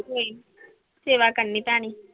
ਕੋਈ ਨੀ, ਸੇਵਾ ਕਰਨੀ ਪੈਣੀ।